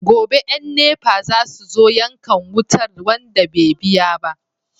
Gobe yan NEPA zasu zo yankan wutar wanda be biya ba